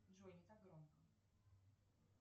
джой не так громко